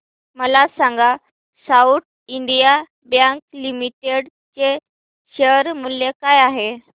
मला सांगा South Indian Bank Limited चे शेअर मूल्य काय आहे